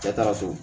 Cɛ taara so